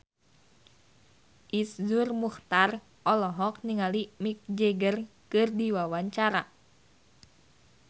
Iszur Muchtar olohok ningali Mick Jagger keur diwawancara